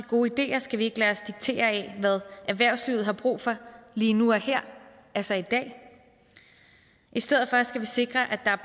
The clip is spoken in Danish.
gode ideer skal vi ikke lade os diktere af hvad erhvervslivet har brug for lige nu og her altså i dag i stedet for skal vi sikre at der